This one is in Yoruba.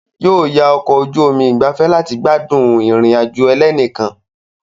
Yóò yá ọkọ̀ ojú omi ìgbafẹ́ láti gbádùn ìrìn àjò ẹlẹ́nìkan.